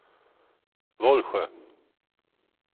Vollsjö